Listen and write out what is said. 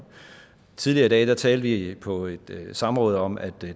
tidligere i dag talte vi på et samråd om at